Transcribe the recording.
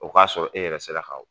O k'a sɔrɔ e yɛrɛ sera ka